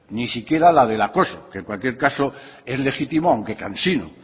ni siquiera la del acoso que en cualquier caso es legitimo aunque cansino